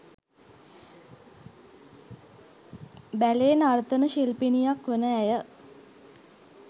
බැලේ නර්තන ශිල්පිනියක් වන ඇය